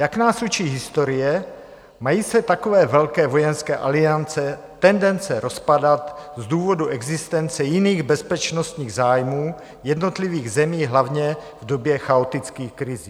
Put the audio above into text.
Jak nás učí historie, mají se takové velké vojenské aliance tendence rozpadat z důvodu existence jiných bezpečnostních zájmů jednotlivých zemí, hlavně v době chaotických krizí.